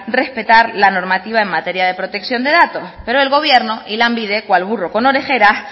respetar la normativa en materia de protección de datos pero el gobierno y lanbide cual burro con orejeras